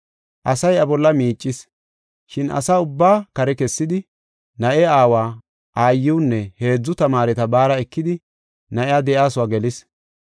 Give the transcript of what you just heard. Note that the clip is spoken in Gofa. Asay iya bolla miicis. Shin asa ubbaa kare kessidi, na7e aawa, aayiwunne heedzu tamaareta baara ekidi na7iya de7iyasuwa gelis.